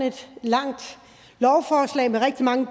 et langt lovforslag med rigtig mange